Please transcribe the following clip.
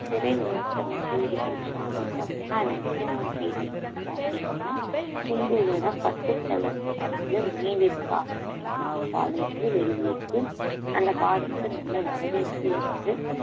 திரை விமர்ச்சனம் செய்தி படிச்சோம் அப்படின்னு பார்த்தீங்கன்னா அதுல முக்கியமான செய்தி என்னன்னு பாத்தீங்கன்னா சிம்புவோட பத்து தலன்ற படத்துல நினைவிருக்கா அப்படிங்கற பாடல் வந்து வெளியேறிருக்கு அந்த பாடலுக்கு நல்ல வரவேற்பு இருக்கு